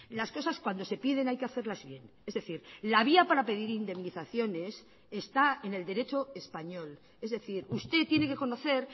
las cosas cuando se piden hay que hacerlas bien es decir la vía para pedir indemnizaciones está en el derecho español es decir usted tiene que conocer